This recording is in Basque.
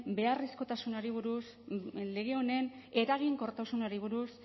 beharrezkotasunari buruz lege honen eraginkortasunari buruz